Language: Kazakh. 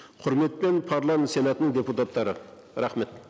құрметпен парламент сенатының депутаттары рахмет